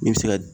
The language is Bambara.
I bɛ se ka